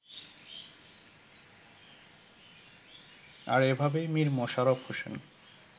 আর এভাবেই মীর মশাররফ হোসেন